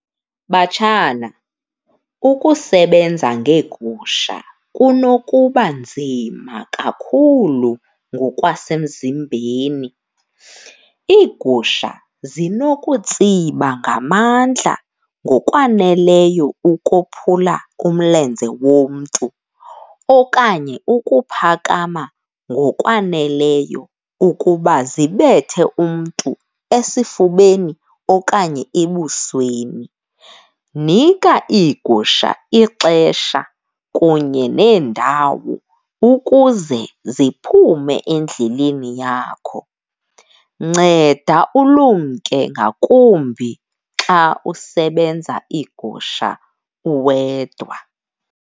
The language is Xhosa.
Batshana, ukusebenza ngeegusha kunokuba nzima kakhulu ngokwasemzimbeni. Iigusha zinokutsiba ngamandla, ngokwaneleyo ukophula umlenze womntu okanye ukuphakama ngokwaneleyo ukuba zibethe umntu esifubeni okanye ebusweni. Nika iigusha ixesha kunye nendawo ukuze ziphume endleleni yakho. Nceda ulumke ngakumbi xa usebenza iigusha uwedwa.